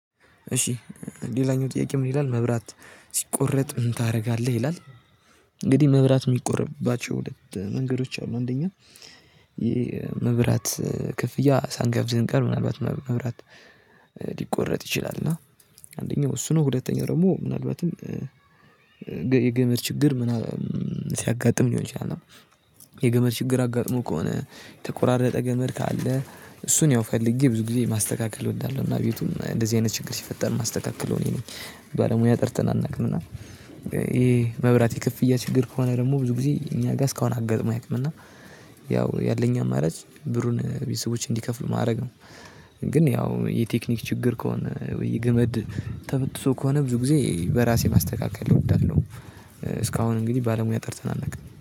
እሺ ሌላኛው ጥያቄ ምን ይላል መብራት ሲቆረጥ ምን ታደርጋለህ ይላል? እንግዲህ መብራት የሚቆረጥባቸው ሁለት መንገዶች አሉ። አንደኛ ይሄ የመብራት ክፍያ ሳንከፍል ስንቀር ምናልባት መብራት ሊቆረጥ ይችላል። እና አንደኛው እሱ ነው። ሁለተኛው ደግሞ ምናልባትም የገመድ ችግር ምናምን ሲያጋጥም ሊሆን ይችላል። የገመድ ችግር አጋጥሞ ከሆነ የተቆራረጠ ገመድ ካለ እሱን ያው ፈልጌ ብዙ ጊዜ ማስተካከል እወዳለሁ። እና ቤቱን እንደዚህ አይነት ችግር ሲፈጠር ማስተካከለው እኔ ነኝ ባለሙያ ጠርተናን እናውቅምና። ይሄ መብራት ክፍያ ችግር ከሆነ ደግሞ ብዙ ጊዜ እኛ ጋር እስካሁን አጋጥሞን አያውቅም። እና ያው ያለኝ አማራጭ ብሩን ቤተሰቦቼ እንዲከፍሉ ማድረግ ነው። ግን ያው የቴክኒክ ችግር ከሆነ ወይ የግመድ ተበጥሶ ከሆነ ብዙ ጊዜ በራሴ ማስተካከል እወዳለሁ። እስካሁን እንግዲህ ባለሙያ ጠርተን አናውቅም